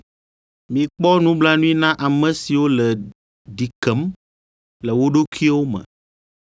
Mikpɔ nublanui na ame siwo le ɖi kem le wo ɖokuiwo me.